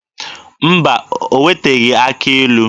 Mba, o wetaghị akị ilu.